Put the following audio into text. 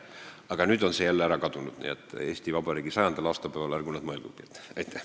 Aga nüüd on see võimalus jälle ära kadunud, nii et Eesti Vabariigi 100. aastapäeval ärgu nad sellele mõelgugi.